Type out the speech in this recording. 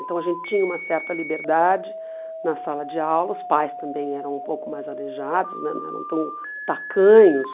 Então a gente tinha uma certa liberdade na sala de aula, os pais também eram um pouco mais aleijados né, não eram tão tacanhos.